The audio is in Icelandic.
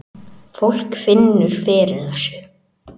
Fólk finnur fyrir þessu